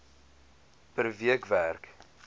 per week werk